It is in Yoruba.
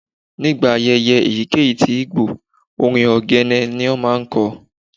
Nigba ayẹyẹ eyikeyi tí Igbo, orín ogene ma n dun.